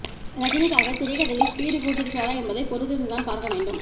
ரஜினிக்காக திரைக்கதையில் ஸ்பீடு கூட்டி இருக்கிறாரா என்பதை பொறுத்திருந்துதான் பார்க்க வேண்டும்